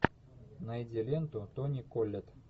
найди ленту тони коллет